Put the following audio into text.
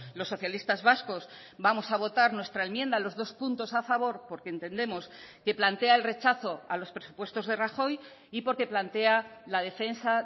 los socialistas vascos vamos a votar nuestra enmienda a los dos puntos a favor porque entendemos que plantea el rechazo a los presupuestos de rajoy y porque plantea la defensa